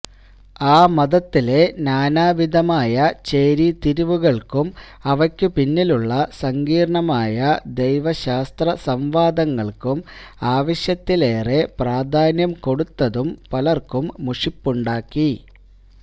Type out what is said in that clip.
ആ മതത്തിലെ നാനാവിധമായ ചേരിതിരിവുകൾക്കും അവയ്ക്കുപിന്നിലുള്ള സങ്കീർണ്ണമായ ദൈവശാസ്ത്ര സംവാദങ്ങൾക്കും ആവശ്യത്തിലേറെ പ്രാധാന്യം കൊടുത്തതും പലർക്കും മുഷിപ്പുണ്ടാക്കി